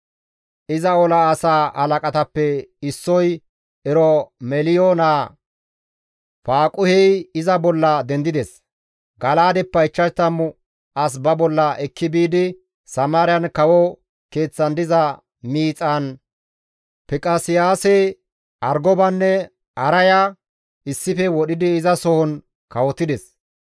Iza ola asaa halaqatappe issoy Eromeliyo naa Faaquhey iza bolla dendides; Gala7aadeppe 50 as ba bolla ekki biidi Samaariyan kawo keeththan diza miixan Fiqaseyaase, Argobanne Arayara issife wodhidi izasohon kawotides.